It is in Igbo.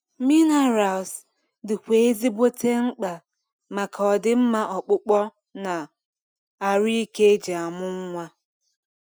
Minerals di kwa ezigbote mkpa maka ọdimma ọkpụkpụ na arụ ike eji amụ nwa